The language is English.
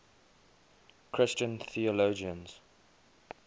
christian theologians